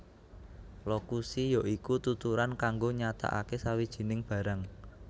Lokusi ya iku tuturan kanggo nyatakaké sawijining barang